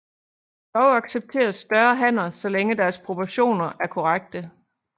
Dog accepteres større hanner så længe deres proportioner er korrekte